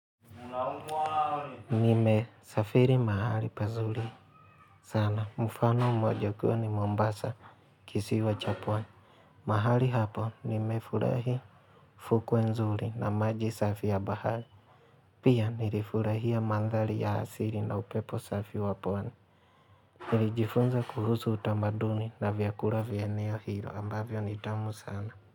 Nime safiri mahali pazuri sana. Mfano moja ukiwa ni Mombasa kisiwa cha pwani. Mahali hapo nimefurahi fukwe nzuri na maji safi ya bahari. Pia nilifurahia mandhari ya asiri na upepo safi wa pwani. Nilijifunza kuhusu utamaduni na vyakula vya eneo hilo ambavyo nitamu sana.